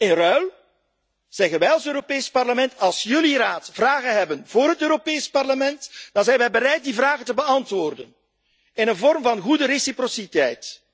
In ruil zeggen wij als Europees Parlement als jullie, Raad, vragen hebben voor het Europees Parlement, dan zijn wij bereid die vragen te beantwoorden in een vorm van goede wederkerigheid.